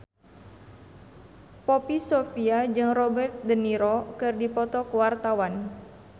Poppy Sovia jeung Robert de Niro keur dipoto ku wartawan